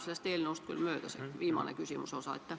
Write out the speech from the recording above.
See viimane küsimuse osa läheb natuke sellest eelnõust küll mööda.